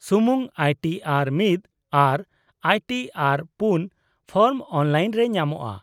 -ᱥᱩᱢᱩᱝ I T R one ᱟᱨ I T ᱟᱨᱼ᱔ ᱯᱷᱚᱨᱢ ᱚᱱᱞᱟᱭᱤᱱ ᱨᱮ ᱧᱟᱢᱚᱜᱼᱟ ᱾